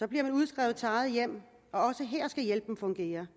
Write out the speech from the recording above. bliver man udskrevet til eget hjem og også her skal hjælpen fungere